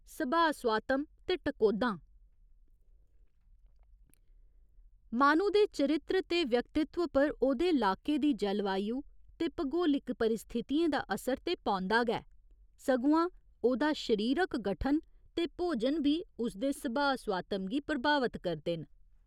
सभाऽ स्वातम ते टकोह्दां माह्‌नू दे चरित्र ते व्यक्त्तिव पर ओह्दे लाके दी जलवायु ते भगोलिक परिस्थितियें दा असर ते पौंदा गै, सगुआं ओह्दा शरीरक गठन ते भोजन बी उसदे सभाऽ स्वातम गी प्रभावत करदे न।